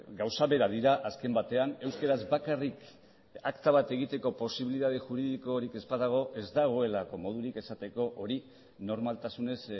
gauza bera dira azken batean euskaraz bakarrik akta bat egiteko posibilitate juridikorik ez badago ez dagoelako modurik esateko hori normaltasunez